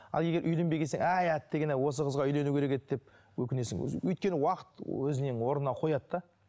ал егер үйленбегесін әй әттеген ай осы қызға үйлену керек деп өкінесің өйткені уақыт өзінің орнына қояды да